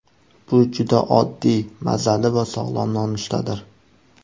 Bu juda oddiy, mazali va sog‘lom nonushtadir.